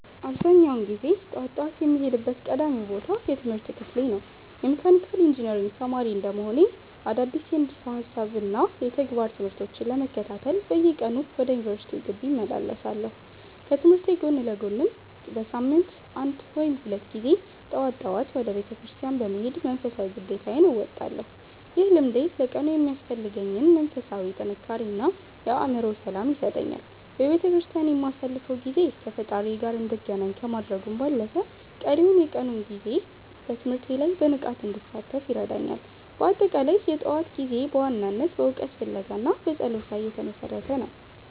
አብዛኛውን ጊዜ ጠዋት ጠዋት የምሄድበት ቀዳሚው ቦታ የትምህርት ክፍሌ ነው። የመካኒካል ኢንጂነሪንግ ተማሪ እንደመሆኔ፣ አዳዲስ የንድፈ ሃሳብና የተግባር ትምህርቶችን ለመከታተል በየቀኑ ወደ ዩኒቨርሲቲው ግቢ እመላለሳለሁ። ከትምህርቴ ጎን ለጎንም በሳምንት አንድ ወይም ሁለት ጊዜ ደግሞ ጠዋት ጠዋት ወደ ቤተክርስቲያን በመሄድ መንፈሳዊ ግዴታዬን እወጣለሁ። ይህ ልምዴ ለቀኑ የሚያስፈልገኝን መንፈሳዊ ጥንካሬ እና የአእምሮ ሰላም ይሰጠኛል። በቤተክርስቲያን የማሳልፈው ጊዜ ከፈጣሪዬ ጋር እንድገናኝ ከማድረጉም ባለፈ፣ ቀሪውን የቀኑን ጊዜ በትምህርቴ ላይ በንቃት እንድሳተፍ ይረዳኛል። በአጠቃላይ፣ የጠዋት ጊዜዬ በዋናነት በእውቀት ፍለጋ እና በጸሎት ላይ የተመሰረተ ነው።